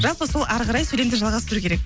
жалпы сол әрі қарай сөйлемді жалғастыру керек